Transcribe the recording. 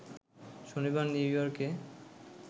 শনিবার নিউ ইয়র্কে